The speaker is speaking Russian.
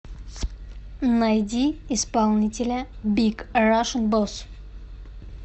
найди исполнителя биг рашн босс